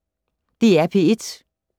DR P1